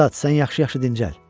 Ustad, sən yaxşı-yaxşı dincəl.